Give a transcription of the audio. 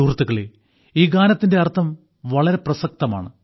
സുഹൃത്തുക്കളേ ഈ ഗാനത്തിന്റെ അർത്ഥം വളരെ പ്രസക്തമാണ്